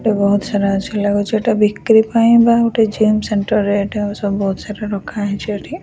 ଏଠି ବହୁତ ସାରା ଏ_ସି ଲାଗୁଚି ଏଟା ବିକ୍ରି ପାଇଁ ବା ଗୋଟେ ଜିମ ସେଣ୍ଟର ରେ ଏଟା ସବୁ ବହୁତ ସାରା ରଖା ହେଇଚି ଏଠି।